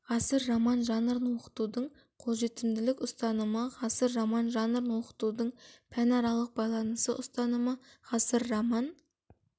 ғасыр роман жанрын оқытудың қолжетімділік ұстанымы ғасыр роман жанрын оқытудың пәнаралық байланысы ұстанымы ғасыр роман